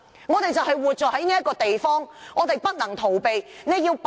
我們活在這個地方，便不能逃避。